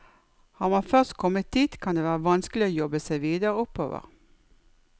Har man først kommet dit, kan det være vanskelig å jobbe seg videre oppover.